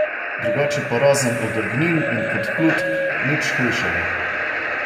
Drugače pa razen odrgnin in podplutb nič hujšega.